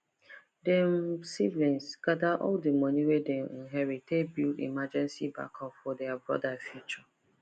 dem siblings gather all the money wey dem inherit take build emergency backup for their broda future